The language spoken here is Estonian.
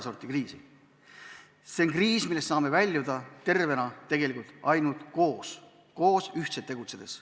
See on kriis, millest saame tervena väljuda tegelikult ainult koos, ühtselt tegutsedes.